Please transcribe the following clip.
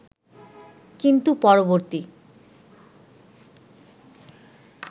কিন্তু পরবর্তী